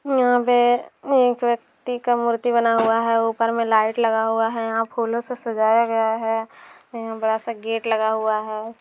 यहाँ पे एक व्यक्ति का मूर्ति बना हुआ है ऊपर में लाइट लगा हुआ है यहाँ फूलों से सजाया गया है यहाँ बड़ा सा गेट लगा हुआ है।